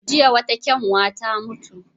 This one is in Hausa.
Jiya wata kyanwa ta mutu.